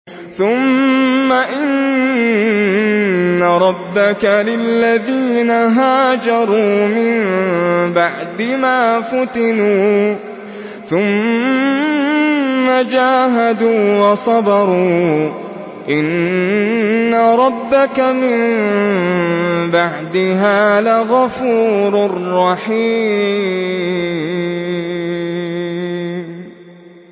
ثُمَّ إِنَّ رَبَّكَ لِلَّذِينَ هَاجَرُوا مِن بَعْدِ مَا فُتِنُوا ثُمَّ جَاهَدُوا وَصَبَرُوا إِنَّ رَبَّكَ مِن بَعْدِهَا لَغَفُورٌ رَّحِيمٌ